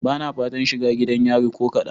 Bana fatan shiga gidan yari ko kadan.